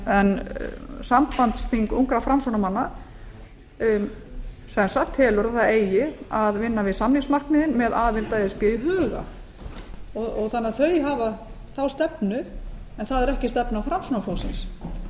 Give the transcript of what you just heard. en sambandsþing ungra framsóknarmanna telur að það eigi að vinna við samningsmarkmiðin með aðild að e s b í huga þannig að þau hafa þá stefnu en það er ekki stefna framsóknarflokksins